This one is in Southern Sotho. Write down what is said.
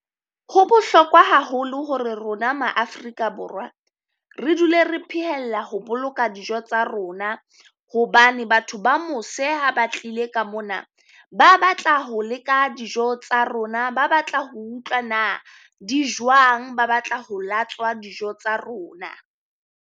Ho bohlokwa haholo hore rona maafrika borwa re dule re phehella ho boloka dijo tsa rona, hobane batho ba mose ha ba tlile ka mona, ba batla ho leka dijo tsa rona. Ba batla ho utlwa na di jwang ba batla ho latswa dijo tsa rona.